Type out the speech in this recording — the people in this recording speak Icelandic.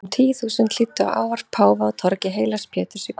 Um tíu þúsund hlýddu á ávarp páfa á torgi heilags Péturs í kvöld.